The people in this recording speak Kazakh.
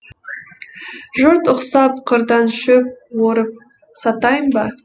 жұрт ұқсап қырдан шөп орып сатайын ба